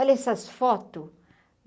Olha essas fotos.